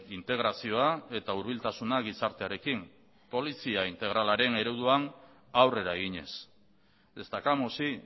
integrazioa eta hurbiltasuna gizartearekin polizia integralaren ereduan aurrera eginez destacamos sí